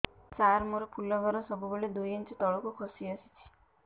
ସାର ମୋର ଫୁଲ ଘର ସବୁ ବେଳେ ଦୁଇ ଇଞ୍ଚ ତଳକୁ ଖସି ଆସିଛି